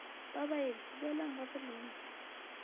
ba baeng boelang ga gabolena